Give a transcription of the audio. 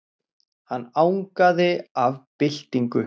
Hann angaði af byltingu.